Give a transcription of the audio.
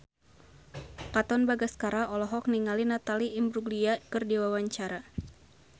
Katon Bagaskara olohok ningali Natalie Imbruglia keur diwawancara